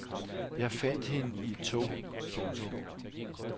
Jeg fandt hende i et tog. punktum